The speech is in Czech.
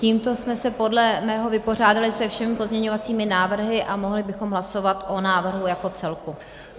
Tímto jsme se podle mého vypořádali se všemi pozměňovací návrhy a mohli bychom hlasovat o návrhu jako celku.